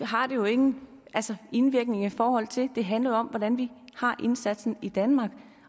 har det jo ingen indvirkning i forhold til det handler jo om hvordan vi har indsatsen i danmark